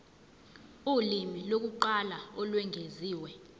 ulimi lokuqala olwengeziwe